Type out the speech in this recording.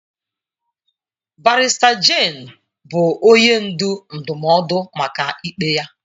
Barrister Jane bụ onye ndu ndụmọdụ maka ikpe ya.